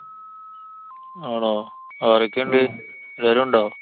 ആണോ? ആരോക്കെണ്ട്? എല്ലാരും ഉണ്ടോ?